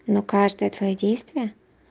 но каждое твоё действие